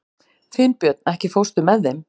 Finnbjörn, ekki fórstu með þeim?